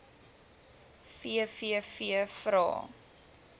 vvvvrae